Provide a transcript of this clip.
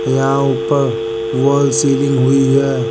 यहां ऊपर wall ceiling हुई है।